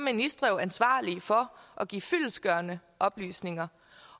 er ministre jo ansvarlige for at give fyldestgørende oplysninger